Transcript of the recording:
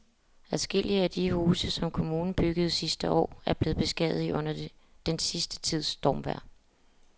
Adskillige af de huse, som kommunen byggede sidste år, er blevet beskadiget under den sidste tids stormvejr.